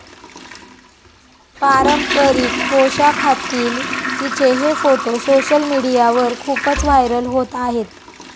पारंपरिक पोषाखातील तिचे हे फोटो सोशल मीडियावर खूपच व्हायरल होत आहेत.